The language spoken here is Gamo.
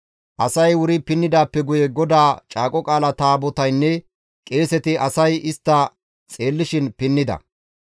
Asay wuri pinnidaappe guye GODAA Caaqo Qaala Taabotaynne qeeseti asay istta xeellishin pinnida.